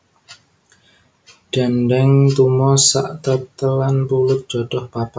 Dendeng tumo sak tetelan pulut jadah papat